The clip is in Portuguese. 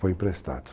Foi emprestado.